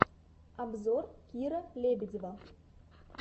обзор кира лебедева